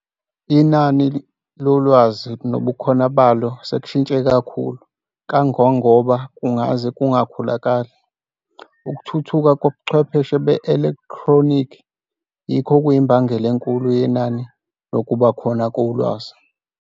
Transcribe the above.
Inani lolwazi nobukhona balo sekushintshe kakhulu - kangangoba kungaze kungakholakali. Ukuthuthuka kobuchwepheshe be-elekthronikhi yikho okuyimbangela enkulu yenani nokuba khona kolwazi.